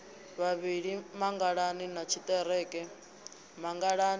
vhavhili mangalani na tshiḓereke mangalani